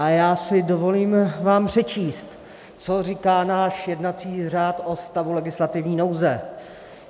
A já si dovolím vám přečíst, co říká náš jednací řád o stavu legislativní nouze.